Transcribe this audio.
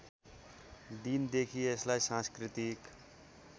दिनदेखि यसलाई सांस्कृतिक